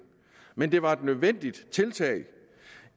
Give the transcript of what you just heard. men det var et nødvendigt tiltag